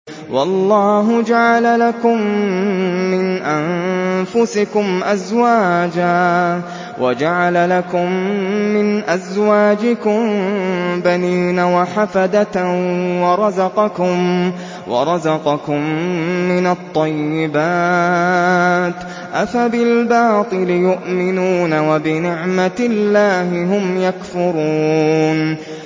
وَاللَّهُ جَعَلَ لَكُم مِّنْ أَنفُسِكُمْ أَزْوَاجًا وَجَعَلَ لَكُم مِّنْ أَزْوَاجِكُم بَنِينَ وَحَفَدَةً وَرَزَقَكُم مِّنَ الطَّيِّبَاتِ ۚ أَفَبِالْبَاطِلِ يُؤْمِنُونَ وَبِنِعْمَتِ اللَّهِ هُمْ يَكْفُرُونَ